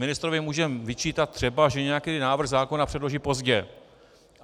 Ministrovi můžeme vyčítat třeba, že nějaký návrh zákona předloží pozdě.